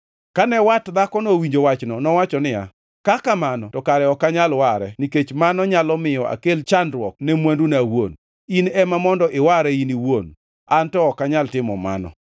Kane wat dhakono owinjo wachno, nowacho niya, “Ka kamano to kare ok anyal ware nikech mano nyalo miyo akel chandruok ne mwanduna awuon. In ema mondo iware in iwuon. An ok anyal timo mano.”